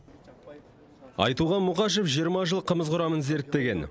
айтуған мұқашев жиырма жыл қымыз құрамын зерттеген